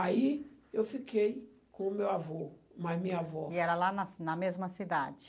Aí eu fiquei com o meu avô mais minha avó... E era lá na na mesma cidade?